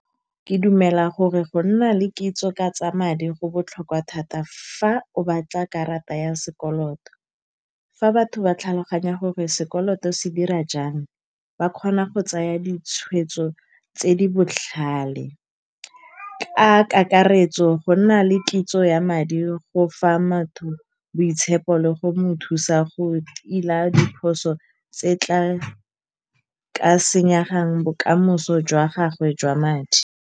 Ke dumela gore go nna le kitso ka tsa madi go botlhokwa thata fa o batla karata ya sekoloto. Fa batho ba tlhaloganya gore sekoloto se dira jang, ba kgona go tsaya ditshwetso tse di botlhale. Ka kakaretso, go nna le kitso ya madi go fa motho boitshepo le go mo thusa go tila diphoso tse di tla, ka senyang bokamoso jwa gagwe jwa madi.